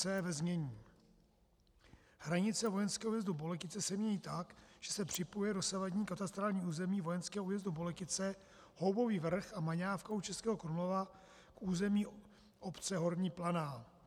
c) ve znění: Hranice vojenského újezdu Boletice se mění tak, že se připojuje dosavadní katastrální území vojenského újezdu Boletice, Houbový vrch a Maňávka u Českého Krumlova k území obce Horní Planá.